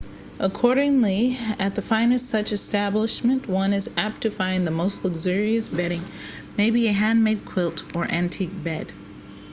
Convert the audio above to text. accordingly at the finest such establishments one is apt to find the most luxurious bedding maybe a handmade quilt or an antique bed